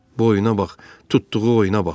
Boyuna bax, tutduğu oyuna bax!